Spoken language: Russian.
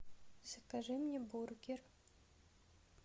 закажи мне бургер